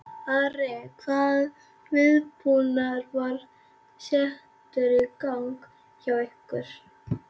Ari, hvaða viðbúnaður var settur í gang hjá ykkur?